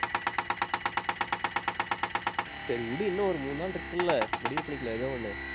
சரி விடு, இன்னும் ஒரு மூணு நாள் இருக்குல்ல முடிவு பண்ணிக்கலாம் ஏதோ ஒண்ணு